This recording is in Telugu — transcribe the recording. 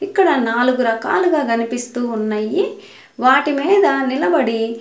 ఇక్కడ నాలుగు రకాలుగా కనిపిస్తు వున్నయి వాటి మీద నిలబడి --